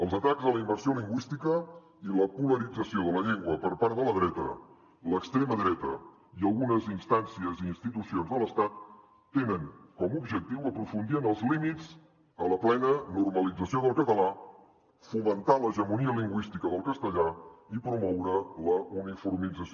els atacs a la immersió lingüística i la polarització de la llengua per part de la dreta l’extrema dreta i algunes instàncies i institucions de l’estat tenen com a objectiu aprofundir en els límits a la plena normalització del català fomentar l’hegemonia lingüística del castellà i promoure la uniformització